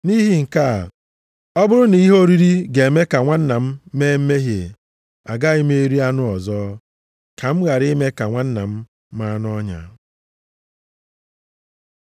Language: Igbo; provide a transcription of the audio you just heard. Nʼihi nke a, ọ bụrụ na ihe oriri ga-eme ka nwanna m mee mmehie, agaghị m eri anụ ọzọ, ka m ghara ime ka nwanna m maa nʼọnya.